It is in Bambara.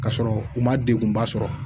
Ka sɔrɔ u ma degunba sɔrɔ